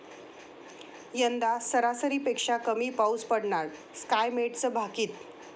यंदा सरासरीपेक्षा कमी पाऊस पडणार, स्कायमेटचं भाकित